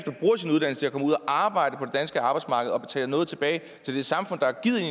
arbejde på danske arbejdsmarked og betale noget tilbage til det samfund